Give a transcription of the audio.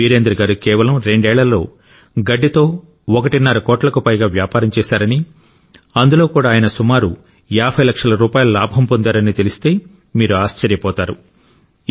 వీరేంద్ర గారు కేవలం రెండేళ్లలో గడ్డితో ఒకటిన్నర కోట్లకు పైగా వ్యాపారం చేశారని అందులో కూడా ఆయన సుమారు 50 లక్షల రూపాయల లాభం పొందారని తెలిస్తే మీరు ఆశ్చర్యపోతారు